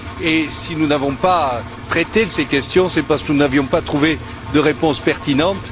Et si nous n'avons pas traité ces questions, c'est parce que nous n'avions pas trouvé de réponse pertinente.